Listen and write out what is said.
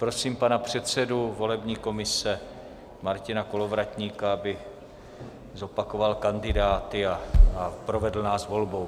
Prosím pana předsedu volební komise Martina Kolovratníka, aby zopakoval kandidáty a provedl nás volbou.